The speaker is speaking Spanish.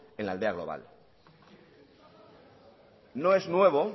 en la aldea global no es nuevo